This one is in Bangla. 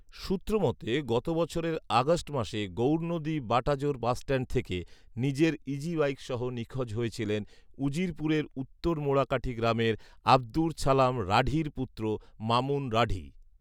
সূত্রমতে, গত বছরের আগস্ট মাসে গৌরনদী বাটাজোর বাসষ্ট্যান্ড থেকে নিজের ইজিবাইকসহ নিখোঁজ হয়েছিলেন উজিরপুরের উত্তর মোড়াকাঠী গ্রামের আব্দুর ছালাম রাঢীর পুত্র মামুন রাঢী